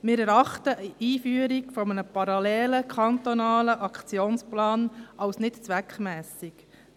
Wir erachten die Einführung eines parallelen kantonalen Aktionsplans als nicht zweckmässig.